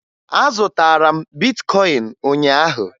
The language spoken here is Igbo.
Azụtara m bitkọyịn ụnyaahụ